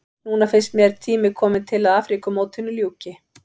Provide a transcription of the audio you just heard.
Núna finnst mér tími kominn til að Afríkumótinu ljúki.